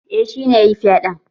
Eh shi ne yayi fyaɗen